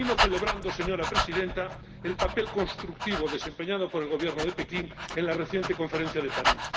Termino celebrando, señora Presidenta, el papel constructivo desempeñado por el Gobierno de Pekín en la reciente Conferencia de París.